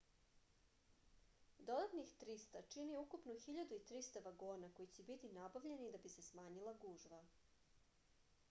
dodatnih 300 čini ukupno 1.300 vagona koji će biti nabavljeni da bi se smanjila gužva